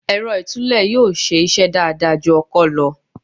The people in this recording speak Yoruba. Èrọ ìtúlẹ̀ yóò ṣe iṣẹ́ dáadáa ju ọkọ́ lọ.